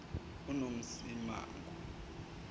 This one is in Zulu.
unomsimangu